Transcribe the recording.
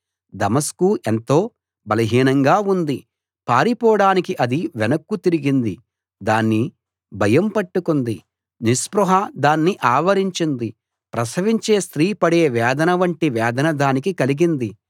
దమస్కు ఎంతో బలహీనంగా ఉంది పారిపోడానికి అది వెనక్కు తిరిగింది దాన్ని భయం పట్టుకుంది నిస్పృహ దాన్ని ఆవరించింది ప్రసవించే స్త్రీ పడే వేదన వంటి వేదన దానికి కలిగింది